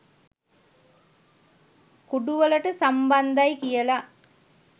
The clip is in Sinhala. කුඩුවලට සම්බන්ධයි කියලා